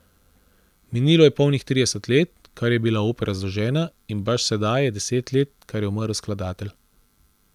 Minilo je polnih trideset let, kar je bila opera zložena in baš sedaj je deset let kar je umrl skladatelj.